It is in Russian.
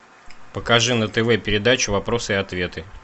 покажи на тв передачу вопросы и ответы